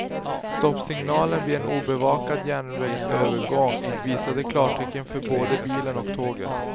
Stoppsignalen vid en obevakad järnvägsövergång visade klartecken för både bilen och tåget.